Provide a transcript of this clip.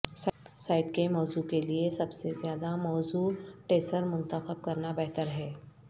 site کے موضوع کے لئے سب سے زیادہ موزوں ٹیسر منتخب کرنا بہتر ہے